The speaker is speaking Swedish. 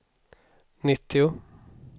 nittio